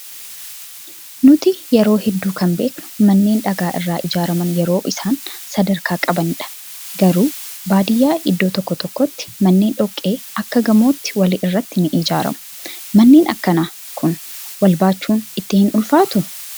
Nuti yeroo hedduu kan beeknu manneen dhagaa irraa ijaaraman yeroo isaan sadrkaa qabanidha. Garuu baadiyyaa iddoo tokko tokkotti manneen dhoqqee akka gamootti walirratti ni ijaaramu. Manneen akkanaa kun wal baachuun itti hin ulfaatuu?